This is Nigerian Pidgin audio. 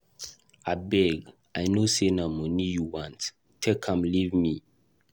Abeg, I no say na money you want, take am leave me.